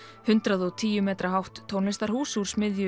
hundrað og tíu ára metra hátt tónlistarhús úr smiðju